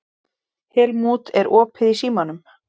Helmút, er opið í Símanum?